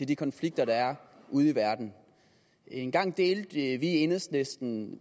de konflikter der er ude i verden engang delte enhedslisten